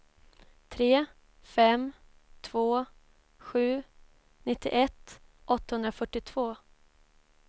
tre fem två sju nittioett åttahundrafyrtiotvå